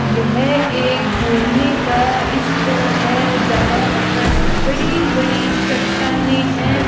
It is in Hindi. यह एक घूमने का स्थल है जहां पर बड़ी बड़ी चट्टानें हैं।